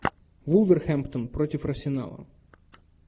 вулверхэмптон против арсенала